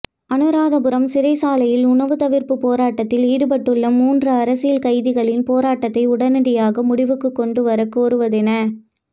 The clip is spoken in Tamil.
அநுராதபுரம் சிறைச்சாலையில் உணவுத் தவிர்ப்பு போராட்டத்தில் ஈடுபட்டுள்ள மூன்று அரசியல் கைதிகளின் போராட்டத்தை உடனடியாக முடிவுக்குக் கொண்டுவரக் கோருவதென